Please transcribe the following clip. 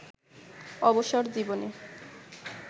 অবসর জীবনে